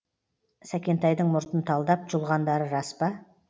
сәкентайдың мұртын талдап жұлғандары рас па